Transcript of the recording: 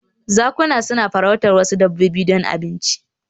Zakuna suna farautar wasu dabbobi don abinci